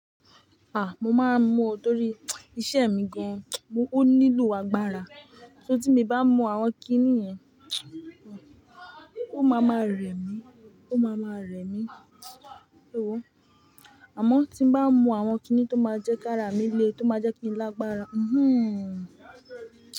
A! Mo máa ń mu ọ torí iṣẹ́ mi gan-an. Mo-- Ó nílò agbára. Só tí mo bá mú àwọn kiní yẹn, o máa ma rẹ̀ mí, o máa ma rẹ̀ mí. Sé wo? Àmọ́ tí mo bá mú àwọn kiní tó máa jẹ́ ká ra mi lé, tó máa jẹ́ kí n lágbára. Mhmm.